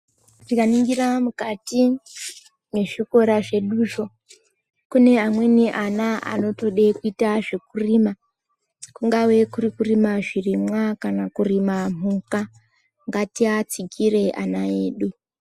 Tikaningira mukati mezvikora zveduzvo, kune amweni ana vanotode kuita zvekurima ,kungave kurukurima zvirimwa kana kurima mhuka. Ngatiatsigireyi ana edu.